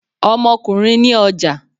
Ọmọkùnrin ni ọja.